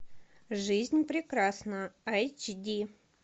жизнь прекрасна айч ди